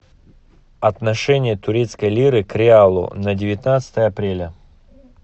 отношение турецкой лиры к реалу на девятнадцатое апреля